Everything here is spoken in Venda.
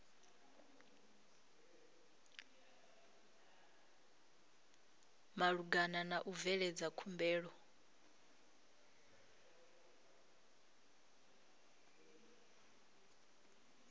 malugana na u bveledza khumbelo